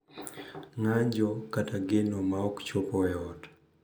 Ng’anjo, kata geno ma ok chopo e ot.